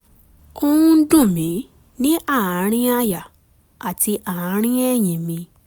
ó ń dùn mí ní àárín àyà àti àárín ẹ̀yìn mi